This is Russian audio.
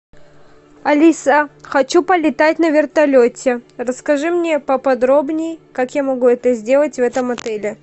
алиса хочу полетать на вертолете расскажи мне поподробнее как я могу это сделать в этом отеле